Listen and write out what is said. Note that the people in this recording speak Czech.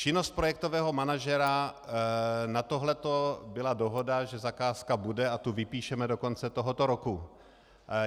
Činnost projektového manažera na tohleto byla dohoda, že zakázka bude, a tu vypíšeme do konce tohoto roku.